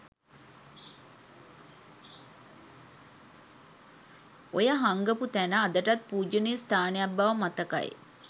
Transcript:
ඔය හංගපු තැන අදටත් පූජනීය ස්ථානයක් බව මතකයි.